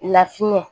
Lafiyɛn